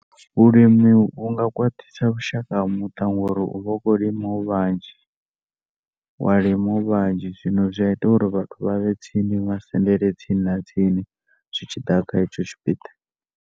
Vhulimi vhunga khwaṱhisa vhushaka ha muṱa ngauri u vha khou lima u vhanzhi wa lima u vhanzhi zwino zwi a ita uri vhathu vha vhe tsini vha sendele tsini na tsini zwi tshi ḓa kha hetsho tshipiḓa.